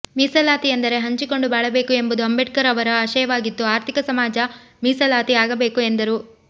ಮೀಸಲಾತಿ ಎಂದರೆ ಹಂಚಿಕೊಂಡು ಬಾಳಬೇಕು ಎಂಬುದು ಅಂಬೇಡ್ಕರ್ ಅವರ ಆಶಯವಾಗಿತ್ತು ಆರ್ಥಿಕ ಸಾಮಾಜಿಕ ಮೀಸಲಾತಿ ಆಗಬೇಕು ಎಂದರು